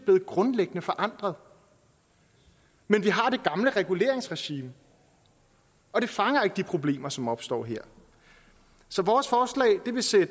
blevet grundlæggende forandret men vi har det gamle reguleringsregime og det fanger ikke de problemer som opstår her så vores forslag vil sætte